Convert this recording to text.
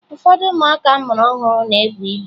Ụfọdụ ụmụaka a mụrụ ọhụrụ na-ebu ibu